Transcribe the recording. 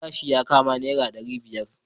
Kudin gashin yakama naira dari biyar.